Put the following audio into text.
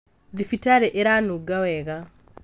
Thibitarĩ ĩranunga wega